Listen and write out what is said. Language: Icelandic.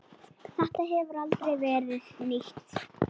Þetta hefur aldrei verið nýtt.